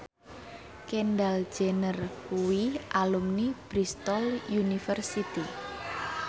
Kendall Jenner kuwi alumni Bristol university